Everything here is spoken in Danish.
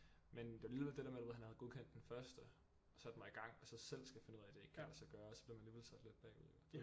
Men det er alligevel det der med du ved han havde godkendt den første og sat mig i gang og så selv skal finde ud af det ikke kan lade sig gøre og så blev man alligevel sat lidt bagud jo